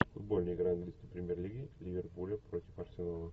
футбольная игра английской премьер лиги ливерпуля против арсенала